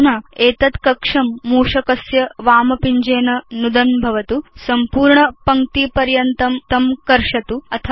अधुना एतद् कक्षं मूषकस्य वामपिञ्जेन नुदन् भवतु सम्पूर्ण पङ्क्तिपर्यन्तं तं कर्षतु